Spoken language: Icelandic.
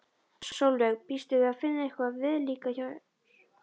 Sólveig: Býstu við að finna eitthvað viðlíka hér?